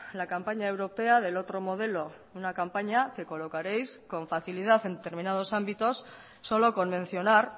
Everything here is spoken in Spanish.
la campaña europea del otro modelo una campaña que colocareis con facilidad en determinados ámbitos solo con mencionar